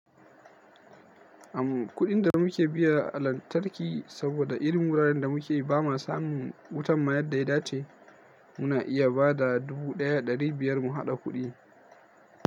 Am kudin da muke biya a lantarki saboda irin wuraren da muke ba ma samun wutan mayar da ya dace. Muna iya ba da dubu ɗaya ɗari biyar mu haɗa kuɗi.